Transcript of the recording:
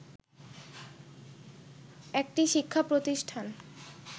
একটি শিক্ষা প্রতিষ্ঠান